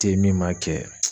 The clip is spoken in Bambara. Te yen min ma kɛ.